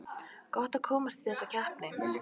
Gott að komast í þessa keppni